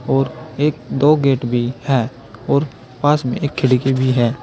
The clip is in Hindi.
और एक दो गेट भी है और पास में एक खिड़की भी है।